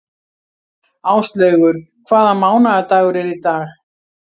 Áslaugur, hvaða mánaðardagur er í dag?